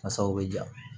Masaw bɛ ja